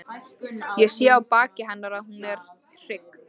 Ég sé á baki hennar að hún er hrygg.